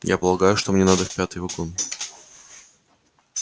я полагаю что мне надо в пятый вагон